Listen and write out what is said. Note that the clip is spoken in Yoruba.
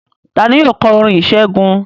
Ta ni yóò kọ orin ìṣẹ́gun?